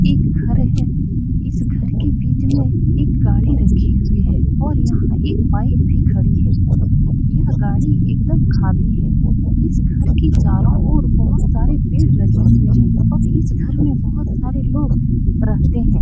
एक घर है इस घर के बीच में एक गाड़ी रखी हुई है और यहाँ एक बाइक भी खड़ी है यह गाड़ी एकदम खाली है इस घर के चारों ओर बहुत सारे पेड़ लगे हुए हैं और इस घर में बहुत सारे लोग रहते हैं ।